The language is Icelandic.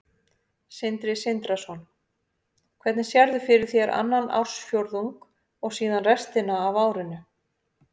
Sindri Sindrason: Hvernig sérðu fyrir þér annan ársfjórðung og síðan restina af árinu?